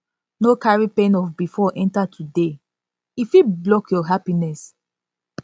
no carry pain of bifor enta today e fit block your happiness